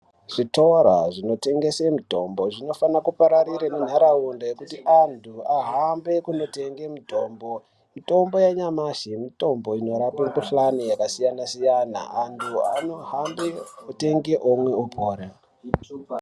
Zvitora zvinotengese mitombo zvinofane kupararira nenharaunda yekuti antu ahambe kunotenge mitombo. Mitombo yanyamashi mitombo inorape mikhuhlani yakasiyana-siyana. Anhu anohambe otenge omwe opora.